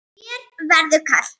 Þér verður kalt